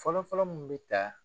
Fɔlɔ-fɔlɔ min bɛ ta